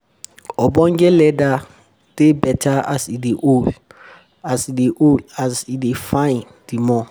ogbonge leather dey better as e dey old. as e um dey old e dey fine di more. um